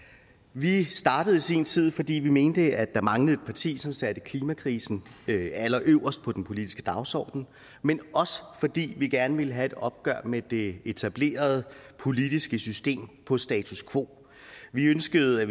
vi startede i sin tid fordi vi mente der manglede et parti som satte klimakrisen allerøverst på den politiske dagsorden men også fordi vi gerne ville have et opgør med det etablerede politiske system på status quo vi ønskede at